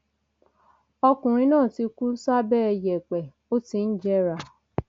ọkùnrin náà ti kú sábẹ yẹẹpẹ ó ti ń jẹrà